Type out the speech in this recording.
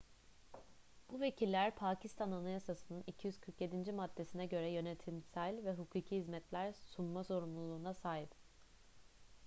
bu vekiller pakistan anayasası'nın 247. maddesine göre yönetimsel ve hukuki hizmetler sunma sorumluluğuna sahip